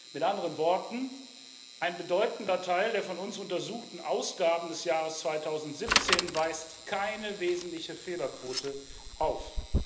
Mit anderen Worten Ein bedeutender Teil der von uns untersuchten Ausgaben des Jahres 2017 weist keine wesentliche Fehlerquote auf.